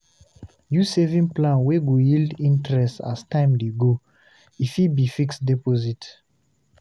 Use saving plan wey go yield interest as time dey go, e fit be fixed deposit